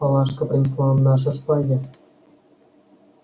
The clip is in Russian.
палашка принесла нам наши шпаги